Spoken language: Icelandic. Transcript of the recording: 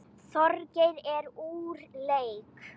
Þorgeir er úr leik.